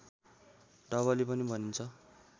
डबली पनि भनिन्छ